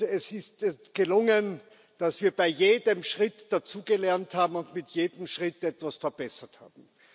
Es ist uns gelungen, dass wir bei jedem Schritt dazugelernt haben und mit jedem Schritt etwas verbessert haben.